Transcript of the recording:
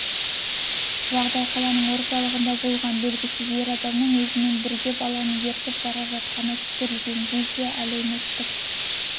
жағдай қаланың орталығында болған белгісіз ер адамның өзімен бірге баланы ертіп бара жатқаны түсірілген видео әлеуметтік